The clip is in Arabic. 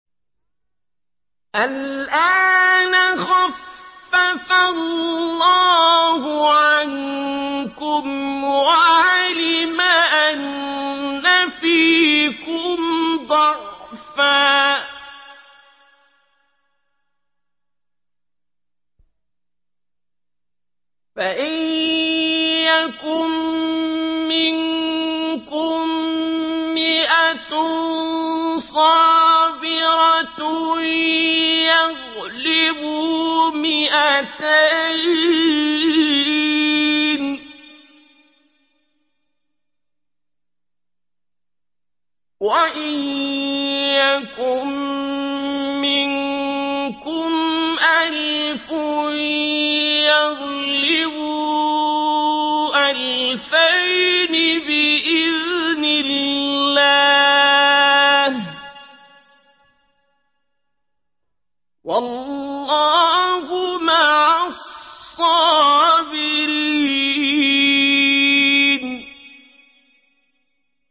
الْآنَ خَفَّفَ اللَّهُ عَنكُمْ وَعَلِمَ أَنَّ فِيكُمْ ضَعْفًا ۚ فَإِن يَكُن مِّنكُم مِّائَةٌ صَابِرَةٌ يَغْلِبُوا مِائَتَيْنِ ۚ وَإِن يَكُن مِّنكُمْ أَلْفٌ يَغْلِبُوا أَلْفَيْنِ بِإِذْنِ اللَّهِ ۗ وَاللَّهُ مَعَ الصَّابِرِينَ